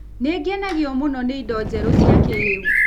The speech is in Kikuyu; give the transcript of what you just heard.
Nĩ ngenagio mũno nĩ indo njerũ cia kĩĩrĩu